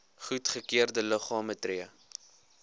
goedgekeurde liggame tree